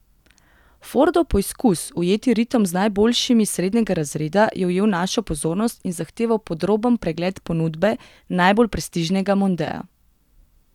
Fordov poizkus ujeti ritem z najboljšimi srednjega razreda je ujel našo pozornost in zahteval podroben pregled ponudbe najbolj prestižnega mondea.